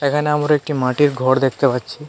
এখানে আমরা একটি মাটির ঘর দেখতে পাচ্ছি.